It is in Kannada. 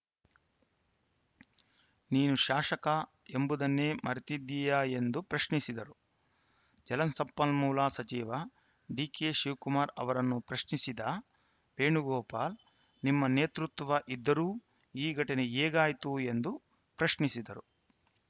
ನೀನು ಶಾಸಕ ಎಂಬುದನ್ನೆ ಮರೆತಿದ್ದೀಯಾ ಎಂದು ಪ್ರಶ್ನಿಸಿದರು ಜಲಸಂಪನ್ಮೂಲ ಸಚಿವ ಡಿಕೆಶಿವಕುಮಾರ್‌ ಅವರನ್ನು ಪ್ರಶ್ನಿಸಿದ ವೇಣುಗೋಪಾಲ್‌ ನಿಮ್ಮ ನೇತೃತ್ವ ಇದ್ದರೂ ಈ ಘಟನೆ ಹೇಗಾಯ್ತು ಎಂದು ಪ್ರಶ್ನಿಸಿದರು